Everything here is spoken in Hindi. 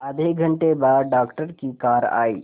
आधे घंटे बाद डॉक्टर की कार आई